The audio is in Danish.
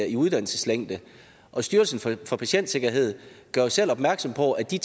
i uddannelseslængde styrelsen for patientsikkerhed gør selv opmærksom på at de